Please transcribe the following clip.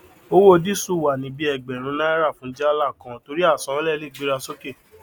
owó disu wà ní bí ẹgbèrin náírà fún jálá kan torí àsanánlè lẹ gbéra sókè